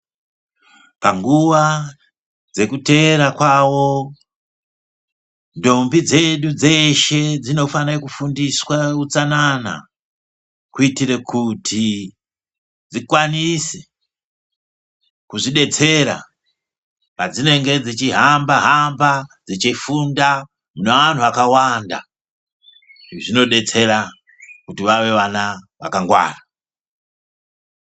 Panguwa dzekuteera kwawo ndombi dzedu dzeshe dzinofanire kufundiswa utsanana kuitire kuti dzikwanise kuzvidetsera padzinenge dzichihamba hamba dzichifunda munevanhu akawanda zvinodetsera kuti vave vana vakangwara.